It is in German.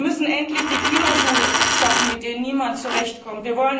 Wir müssen endlich die Kilojoule abschaffen, mit denen niemand zurechtkommt.